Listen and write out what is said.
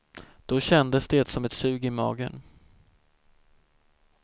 Då kändes det som ett sug i magen.